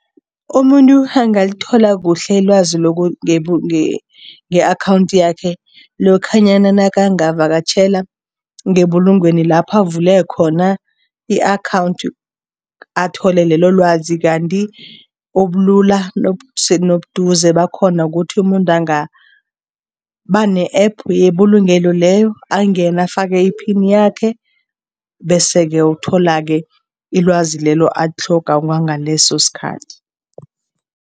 Umuntu angalithola kuhle ilwazi nge-akhawundi yakhe lokhanyana nakangavakatjhela ngebulungweni lapho avule khona i-akhawundi, athole lelo lwazi kanti ubulula nobuduze bakhona ukuthi umuntu angaba ne-App yebulungelo leyo, angene afake iphini yakhe bese-ke uthola-ke ilwazi lelo atlhoga kwangaleso sikhathi.